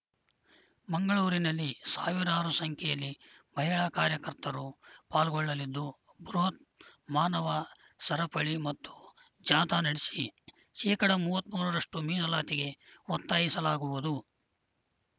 ಮಂಗಳೂರಿನಲ್ಲಿ ಸಾವಿರಾರು ಸಂಖ್ಯೆಯಲ್ಲಿ ಮಹಿಳಾ ಕಾರ್ಯಕರ್ತರು ಪಾಲ್ಗೊಳ್ಳಲಿದ್ದು ಬೃಹತ್‌ ಮಾನವ ಸರಪಳಿ ಮತ್ತು ಜಾಥಾ ನಡೆಸಿ ಶೇಕಡಾ ಮೂವತ್ತ್ ಮೂರರಷ್ಟು ಮೀನಲಾತಿಗೆ ಒತ್ತಾಯಿಸಲಾಗುವುದು